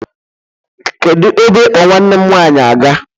Kedụ ebe ị kpọ nwanne m nwaanyi -aga?